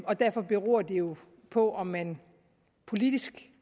og derfor beror det jo på om man politisk